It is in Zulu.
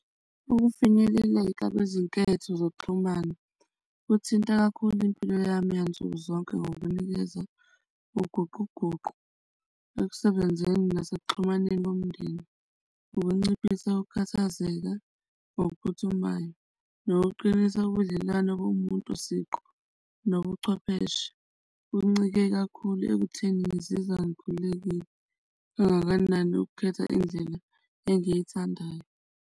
Ukufinyeleleka kwezinketho zokuxhumana kuthinta kakhulu impilo yami yansuku zonke ngokunikeza ukuguquguqu ekusebenzeni nasekuxhumaneni komndeni. Ukunciphisa ukukhathazeka okuphuthumayo nokuqinisa ubudlelwane kumuntu siqu, nobuchwepheshe kuncike kakhulu ekutheni ngizizwa ngikhululekile kangakanani ukukhetha indlela engiyithandayo.